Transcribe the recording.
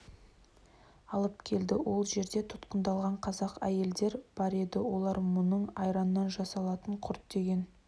алып келді ол жерде тұтқындалған қазақ әйелдер бар еді олар мұның айраннан жасалатын құрт деген